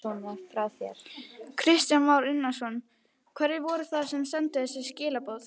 Kristján Már Unnarsson: Hverjir voru það sem sendu þessi skilaboð?